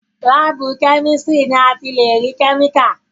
láàbù chemistry ni a ti lè rí chemical.